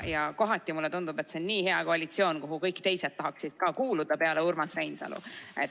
Ja kohati mulle tundub, et see on nii hea koalitsioon, kuhu tahaksid kuuluda ka kõik teised peale Urmas Reinsalu.